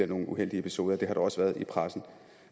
nogle uheldige episoder der er også det i pressen